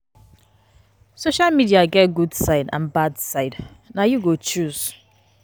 Social media get good good side and bad side, na you go choose.